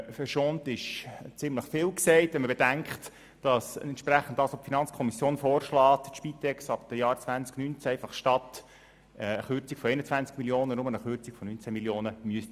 Verschont ist ziemlich viel gesagt, wenn man bedenkt, dass entsprechend dem, was die FiKo vorschlägt, die Spitex ab dem Jahr 2019 einfach statt einer Kürzung um 21 Mio. Franken eine Kürzung um 19 Mio. Franken erleiden müsste.